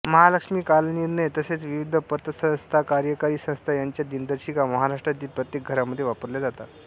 महालक्ष्मीकालनिर्णय तसेच विविध पतसंस्थाकार्यकारी संस्था यांच्या दिनदर्शिका महाराष्ट्रातील प्रत्येक घरांमध्ये वापरल्या जातात